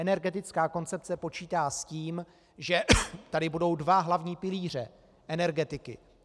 Energetická koncepce počítá s tím, že tady budou dva hlavní pilíře energetiky.